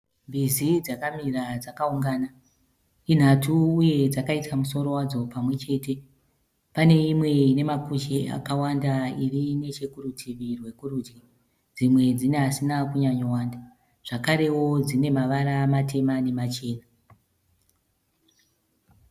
Mbizi dzakamira dzakaungana. Inhatu uye dzakaisa musoro wadzo pamwe chete. Pane imwe ine makushe akawanda iri nechekurutivi rwekuridyi, dzimwe dzine asina kunyanyowanda zvakare dzine mavara matema nemachena.